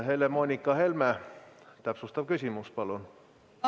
Helle-Moonika Helme, täpsustav küsimus, palun!